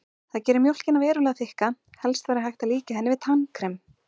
Það gerir mjólkina verulega þykka, helst væri hægt að líkja henni við tannkrem.